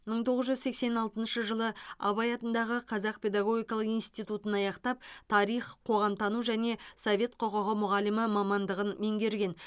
мың тоғыз жүз сексен алтыншы жылы абай атындағы қазақ педагогикалық институтын аяқтап тарих қоғамтану және совет құқығы мұғалімі мамандығын меңгерген